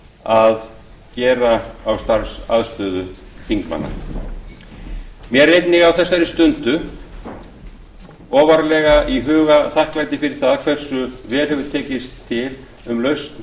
að gera á starfsaðstöðu þingmanna mér er einnig á þessari stundu ofarlega í huga þakklæti fyrir það hversu vel hefur til tekist um lausn